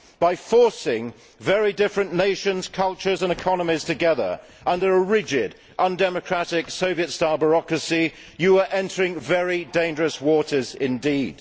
By forcing very different nations, cultures and economies together under a rigid, undemocratic Soviet style bureaucracy, you are entering very dangerous waters indeed.